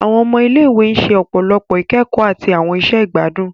Awọn ọmọ ile-iwe ṣe ọpọlọpọ ikẹkọ ati awọn iṣẹ igbadun.